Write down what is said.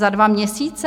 Za dva měsíce?